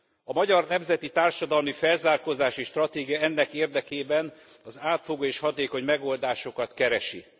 A magyar nemzeti társadalmi felzárkózási stratégia ennek érdekében az átfogó és hatékony megoldásokat keresi.